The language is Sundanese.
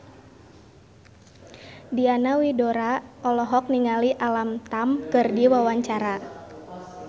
Diana Widoera olohok ningali Alam Tam keur diwawancara